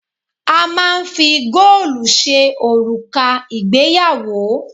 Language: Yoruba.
A máà ń fi góòlù ṣe òrùka ìgbéyàwó.